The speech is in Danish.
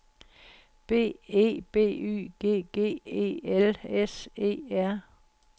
B E B Y G G E L S E R